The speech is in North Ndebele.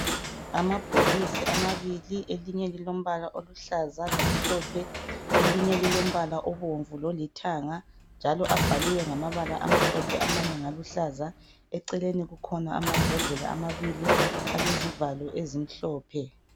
Amabhokisi amabili elinye lilombala oluhlaza lo mhlophe elinye lilombala obomvu lolithanga njalo abhaliwe ngamabala amhlophe amanye ngaluhlaza. Eceleni kukhona amambodlela amabili alezivalo ezimhlophe.